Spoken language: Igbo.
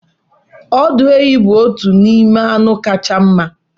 Ọdụ ehi bụ otu n'ime anụ kacha mma m.